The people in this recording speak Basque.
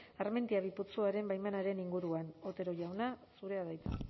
armentiaminus bi putzuaren baimenen inguruan otero jauna zurea da hitza